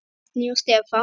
Árný og Stefán.